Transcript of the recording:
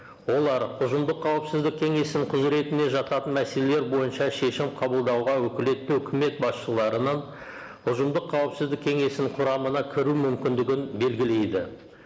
олар ұжымдық қауіпсіздік кеңесінің құзыретіне жататын мәселелер бойынша шешім қабылдауға өкілетті үкімет басшыларынан ұжымдық қауіпсіздік кеңесінің құрамына кіру мүмкіндігін белгілейді